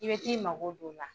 I bɛ t'i mago don o la.